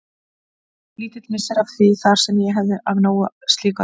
Lítill missir að því þar sem ég hefði af nógu slíku að taka.